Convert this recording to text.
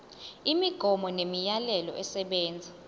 imigomo nemiyalelo esebenza